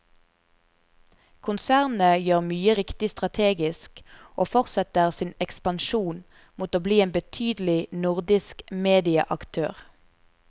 Konsernet gjør mye riktig strategisk, og fortsetter sin ekspansjon mot å bli en betydelig nordisk medieaktør.